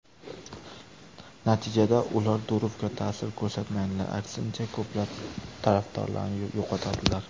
Natijada ular Durovga ta’sir ko‘rsatmaydilar, aksincha, ko‘plab tarafdorlarini yo‘qotadilar.